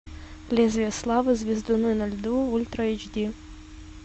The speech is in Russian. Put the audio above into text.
лезвие славы звездуны на льду ультра эйч ди